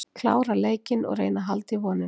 Klára leikinn og reyna að halda í vonina.